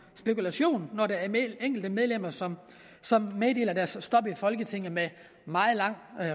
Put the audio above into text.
spekulation når der er enkelte medlemmer som som meddeler deres stop i folketinget med meget lang